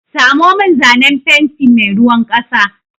Samo min zanen fenti mai ruwan ƙasa!